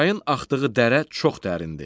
Çayın axdığı dərə çox dərindir.